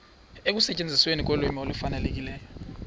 ekusetyenzisweni kolwimi olufanelekileyo